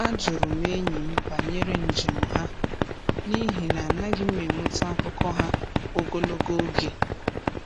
A jụrụ m enyi m banyere njem ha n’ihi na anaghị m enweta akụkọ ha ogologo oge.